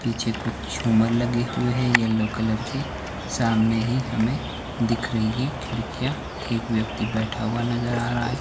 पीछे कुछ झूमर लगे हुए हैं येलो कलर के सामने ही हमें दिख रही है खिड़कियां एक व्यक्ति बैठा हुआ नजर आ रहा है।